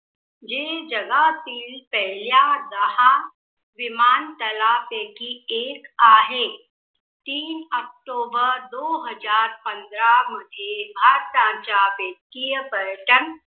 जे जगातील पहिल्या दहा विमानतला पैकी एक आहे. तीन ऑक्टोबर दो हजार पंधरा मध्ये भारताच्या वित्तीय पर्यटन